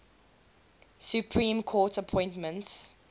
supreme court appointments